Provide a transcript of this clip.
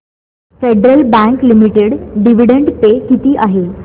federal bank limited dividend pay किती आहे